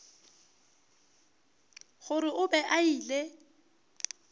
gore o be a ile